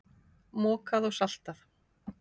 Mokað og saltað.